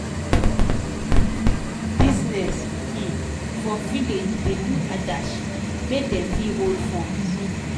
pipu wey da do um business um for village da do adashi make dem fit hold funds